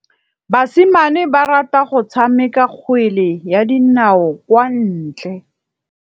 Basimane ba rata go tshameka kgwele ya dinaô kwa ntle.